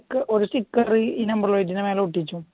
ഒരു സ്റ്റിക്കർ ഈ നമ്പർ പ്ലയിറ്റിന് മേലെ ഒട്ടിക്കും